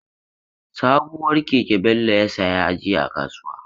Sabuwar keke Bello ya saya jiya a kasuwa.